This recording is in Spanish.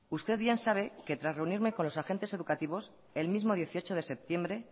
usted bien sabe que tras reunirme con los agentes educativos el mismo dieciocho de septiembre